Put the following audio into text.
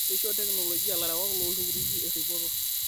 Keisho teknolijia larewak loo ltukutuki erripoto